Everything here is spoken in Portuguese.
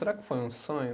Será que foi um sonho?